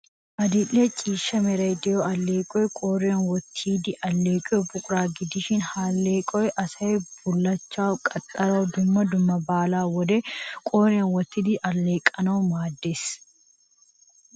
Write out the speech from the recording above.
Adil''e ciishsha meray de'iyoo alleeqoy qoriyan wottiddi alleeqiyoo buqura gidishin, ha alleequwaa asasy bullachchawu, qaxxarawu, dumma dumma baalaa wodetun, qooriyan wottido alleeqanawu maaddees.